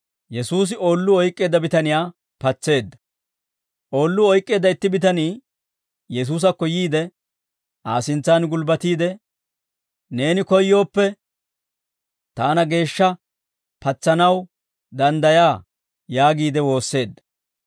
Oolluu oyk'k'eedda itti bitanii Yesuusakko yiide, Aa sintsan gulbbatiide, «Neeni koyyooppe, taana geeshsha patsanaw danddayaa» yaagiide woosseedda.